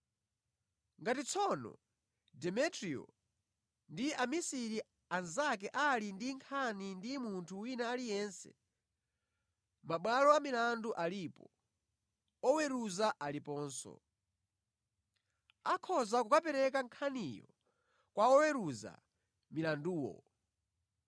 Ngati tsono Demetriyo ndi amisiri anzake ali ndi nkhani ndi munthu wina aliyense, mabwalo a milandu alipo, oweruza aliponso. Akhoza kukapereka nkhaniyo kwa oweruza milanduwo.